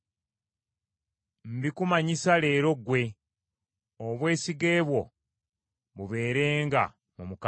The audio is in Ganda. Mbikumanyisa leero ggwe, obwesige bwo bubeerenga mu Mukama .